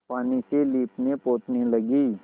पानी से लीपनेपोतने लगी